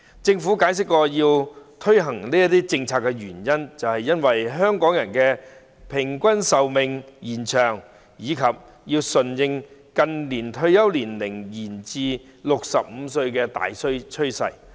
政府解釋，推行這項政策的原因在於香港人的平均壽命延長，並要順應近年退休年齡延至65歲的大趨勢。